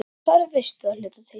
Svarið veistu að hluta til.